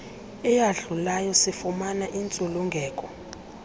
eyadlulayo sifumane intsulungeko